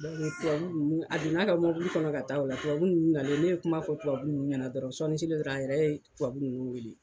Tubabu nunnu a donna ka kɔnɔ ka taa o la, tubabu nunnu n'alen, ne ye kuma fɔ tubabu nunnu ɲɛna dɔrɔn sɔɔnni selen, a yɛrɛ ye tubabu nunnu weele